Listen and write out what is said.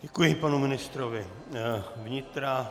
Děkuji panu ministrovi vnitra.